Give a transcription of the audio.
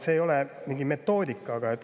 See ei ole mingi selline metoodika.